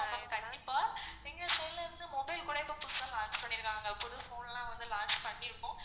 ஆமா ma'am கண்டிப்பா எங்க side ல இருந்து mobile கூட இப்போ புதுசா launch பண்ணிருக்காங்க புது phone லாம் launch பண்ணிருக்கோம்.